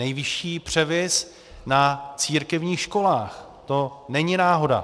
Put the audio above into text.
Nejvyšší převis na církevních školách, to není náhoda.